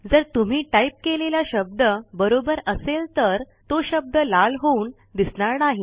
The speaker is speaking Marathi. जर तुम्ही टाईप केलेला शब्द बरोबर असेल तर तो शब्द लाल होऊन दिसणार नाही